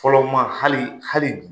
Fɔlɔ maa, hali hali